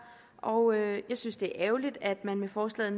og jeg synes det er ærgerligt at man med forslaget